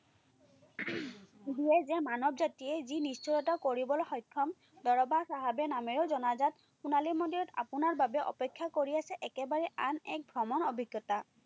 দিয়ে যে মানৱ জাতিয়ে যি নিশ্চয়তা কৰিবলৈ সক্ষম, দৰবা চাহাবেও নামে জনাজাত সোণালী মন্দিৰত আপোনাৰ বাবে অপেক্ষা কৰি আছে একেবাৰে আন এক ভ্ৰমণ অভিজ্ঞতা।